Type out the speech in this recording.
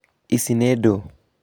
icio nĩ ndũ?